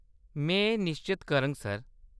में एह्‌‌ निश्चत करङ, सर।